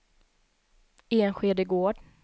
Enskede Gård